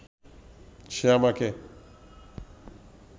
সে আমাকে